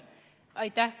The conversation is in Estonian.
Aitäh!